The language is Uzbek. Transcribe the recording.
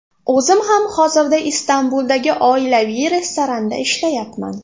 O‘zim ham hozirda Istanbuldagi oilaviy restoranda ishlayapman.